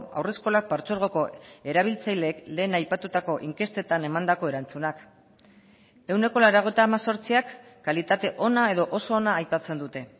haurreskolak partzuergoko erabiltzaileek lehen aipatutako inkestetan emandako erantzunak ehuneko laurogeita hemezortziak kalitate ona edo oso ona aipatzen dute